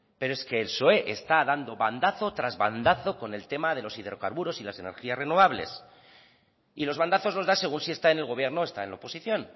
pero es que el psoe está dando bandazo tras bandazo con el tema de los hidrocarburos y las energías renovables y los bandazos los da según si está en el gobierno o está en la oposición